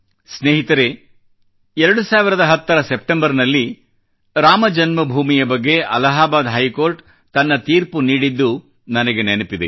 ಸ್ನೇಹಿತರೆ 2010 ರ ಸೆಪ್ಟೆಂಬರ್ ನಲ್ಲಿ ರಾಮ ಜನ್ಮಭೂಮಿಯ ಬಗ್ಗೆ ಅಲಹಾಬಾದ್ ಹೈಕೋರ್ಟ್ ತನ್ನ ತೀರ್ಪು ನೀಡಿದ್ದು ನನಗೆ ನೆನಪಿದೆ